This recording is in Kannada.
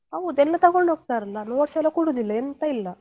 ಹೌದ್ ಎಲ್ಲ ತೊಗೊಂಡು ಹೋಗ್ತಾರಲ್ಲ notes ಎಲ್ಲ ಕೊಡುದಿಲ್ಲ ಎಂತ ಇಲ್ಲ.